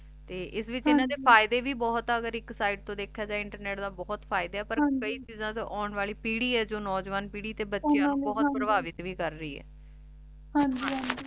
ਤੇ ਏਸ ਵਿਚ ਇਨਾਂ ਦੇ ਫਾਇਦੇ ਵੀ ਬੋਹਤ ਆ ਅਗਰ ਏਇਕ ਸੀੜੇ ਤੋਂ ਦੇਖ੍ਯਾ ਜੇ ਇੰਟਰਨੇਟ ਦਾ ਬੋਹਤ ਫਾਇਦੇ ਆ ਪਰ ਕਈ ਚੀਜ਼ਾਂ ਤੇ ਆਉਣ ਵਾਲੀ ਪੀਰੀ ਆਯ ਜੋ ਨੋਜਵਾਨਾਂ ਪੀਰੀ ਤੇ ਬਚੀਆਂ ਨੂ ਬੋਹਤ ਪਰ੍ਭਾਕ੍ਵਿਤ ਵੀ ਕਰ ਰਹੀ ਆਯ ਹਾਂਜੀ ਹਾਂਜੀ